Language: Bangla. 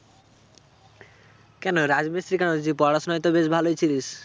কেন রাজমিস্ত্রি কেন তুই যে পড়াশোনায় তো বেশ ভালই ছিলিস ।